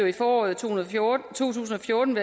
i foråret to tusind og fjorten